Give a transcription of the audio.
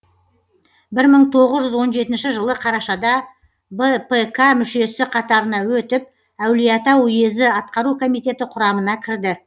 бір мың тоғыз жүз он жетінші жылы қарашада бпк мүшесі қатарына өтіп әулиеата уезі атқару комитеті құрамына кірді